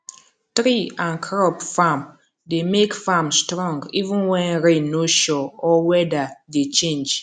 tree and crop farm dey make farm strong even when rain no sure or weather dey change